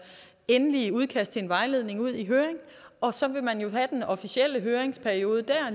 endelige udkast til en vejledning ud i høring og så vil man jo have den officielle høringsperiode